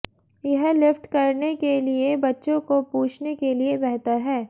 यह लिफ्ट करने के लिए बच्चे को पूछने के लिए बेहतर है